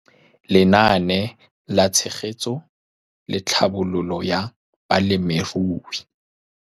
Lenaane la Tshegetso le Tlhabololo ya Balemirui.